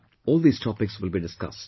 All these topics will be discussed